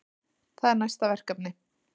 Það er næsta verkefni.